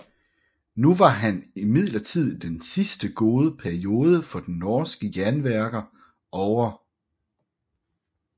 Nu var imidlertid den siste gode periode for de norske jernværker ovre